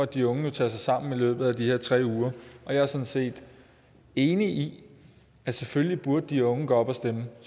de unge jo tage sig sammen i løbet af de her tre uger og jeg er sådan set enig i at selvfølgelig burde de unge gå op og stemme